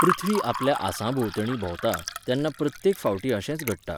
पृथ्वी आपल्या आंसाभोंवतणी भोंवता, तेन्ना प्रत्येक फावटी अशेंच घडटा.